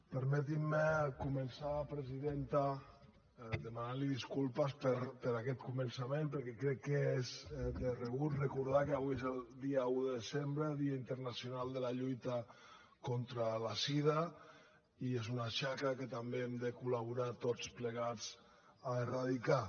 permeti’m començar presidenta demanant li disculpes per aquest començament perquè crec que és de rebut recordar que avui és el dia un de desembre dia internacional de la lluita contra la sida i és una xacra que també hem de col·laborar tots plegats a eradicar